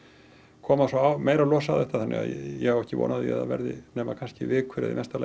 koma meiri los á þetta þannig að ég á ekki von á því að það verði nema kannski vikur eða mesta lagi